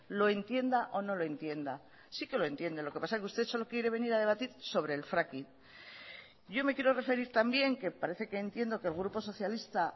lo entienda o no lo entienda sí que lo entiende lo que pasa que usted solo quiere venir a debatir sobre el fracking yo me quiero referir también que parece que entiendo que el grupo socialista